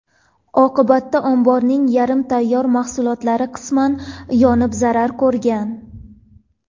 Oqibatda omborning yarim tayyor mahsulotlari qisman yonib zarar ko‘rgan.